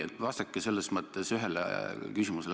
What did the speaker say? Vastake ühele küsimusele.